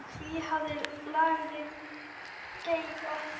Hví hafði lagið geigað?